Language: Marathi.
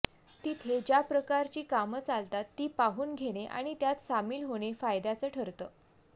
तिथे ज्या प्रकारची कामं चालतात ती पाहून घेणे आणि त्यात सामील होणे फायद्याचं ठरतं